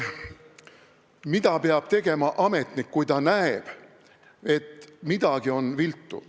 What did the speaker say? Mida peab tegema ametnik, kui ta näeb, et midagi on viltu?